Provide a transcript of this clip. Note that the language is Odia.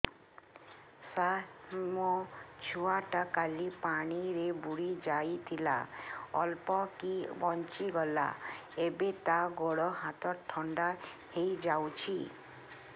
ସାର ମୋ ଛୁଆ ଟା କାଲି ପାଣି ରେ ବୁଡି ଯାଇଥିଲା ଅଳ୍ପ କି ବଞ୍ଚି ଗଲା ଏବେ ତା ଗୋଡ଼ ହାତ ଥଣ୍ଡା ହେଇଯାଉଛି